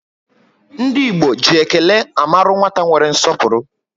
Ndi Igbo ji ékélé amaru nwata nwere nsọpụrụ